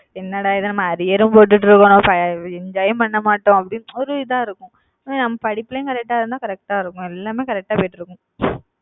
என்னடா இது நம்ம arrear உம் போட்டுட்டு இருக்கோம் enjoy யும் பண்ண மாட்டோம் அப்படின்னு ஒரு இதா இருக்கும். உம் நம்ம படிப்புலயும் correct ஆ இருந்தா correct ஆ இருக்கும் எல்லாமே correct ஆ போயிட்டு இருக்கும்